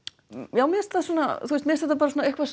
já mér finnst þetta bara eitthvað